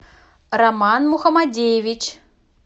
роман мухамадеевич